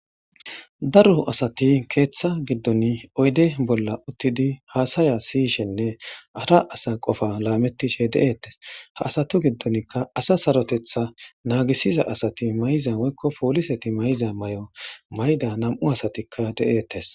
daro asati keeththa giddon oyde bolla uttidi haasaya siyishenne ara asa qofa laamettishe de7ettes ha asatu giddonkka asa sarotetha naagisiza asati mayiza woykko pooliseti mayiza may7o mayda nam7u asatikka de7eettes